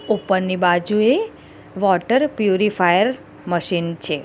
ઉપરની બાજુએ water purifier machine છે.